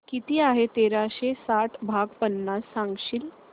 किती आहे तेराशे साठ भाग पन्नास सांगशील